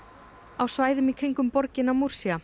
á svæðunum í kringum um borgina